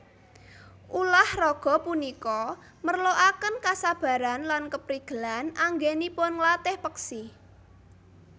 Ulah raga punika merlokaken kesabaran lan keprigelan anggènipun nglatih peksi